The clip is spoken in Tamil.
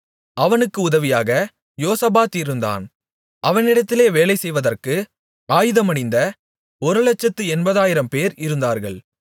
அவனுக்கு உதவியாக யோசபாத் இருந்தான் அவனிடத்திலே வேலைசெய்வதற்கு ஆயுதமணிந்த ஒருலட்சத்து எண்பதாயிரம்பேர் இருந்தார்கள்